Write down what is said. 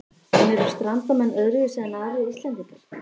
En eru Strandamenn öðruvísi en aðrir Íslendingar?